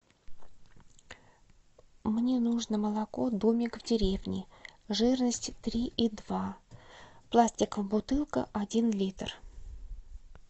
мне нужно молоко домик в деревне жирности три и два пластиковая бутылка один литр